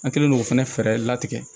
An kɛlen k'o fana fɛɛrɛ latigɛ